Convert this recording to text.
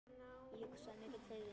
Ég hugsaði mikið til þín.